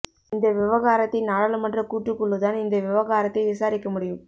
இந்த விவகாரத்தை நாடாளுமன்ற கூட்டுக்குழு தான் இந்த விவகாரத்தை விசாரிக்க முடியும்